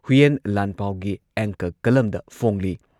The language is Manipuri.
ꯍꯨꯏꯌꯦꯟ ꯂꯥꯟꯄꯥꯎꯒꯤ ꯑꯦꯡꯀꯔ ꯀꯂꯝꯗ ꯐꯣꯡꯂꯤ꯫